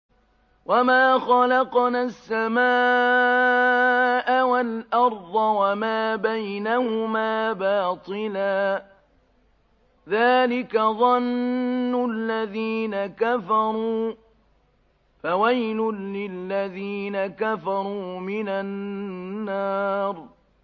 وَمَا خَلَقْنَا السَّمَاءَ وَالْأَرْضَ وَمَا بَيْنَهُمَا بَاطِلًا ۚ ذَٰلِكَ ظَنُّ الَّذِينَ كَفَرُوا ۚ فَوَيْلٌ لِّلَّذِينَ كَفَرُوا مِنَ النَّارِ